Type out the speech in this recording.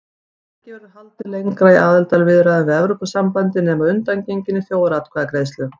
Ekki verður haldið lengra í aðildarviðræðum við Evrópusambandið nema að undangenginni þjóðaratkvæðagreiðslu.